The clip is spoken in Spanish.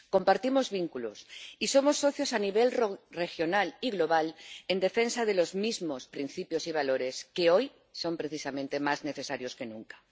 Compartimos vínculos y somos socios a nivel regional y global en defensa de los mismos principios y valores que hoy son precisamente más necesarios que nunca.